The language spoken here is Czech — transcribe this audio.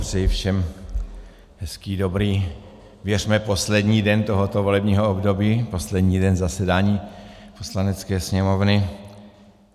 Přeji všem hezký, dobrý, věřme poslední den tohoto volebního období, poslední den zasedání Poslanecké sněmovny.